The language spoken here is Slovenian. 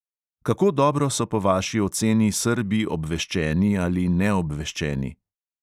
Kako dobro so po vaši oceni srbi obveščeni ali neobveščeni?